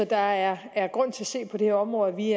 der er er grund til at se på det her område og vi